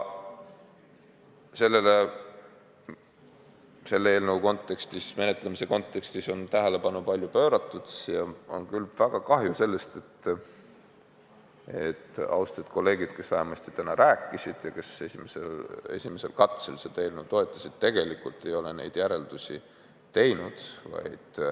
Selle seaduseelnõu menetlemise kontekstis on sellele tähelepanu palju pööratud ja on väga kahju, et austatud kolleegid, kes siin ka täna rääkisid ja kes esimesel katsel seda eelnõu toetasid, tegelikult ei ole vajalikke järeldusi teinud.